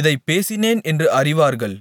இதைப் பேசினேன் என்று அறிவார்கள்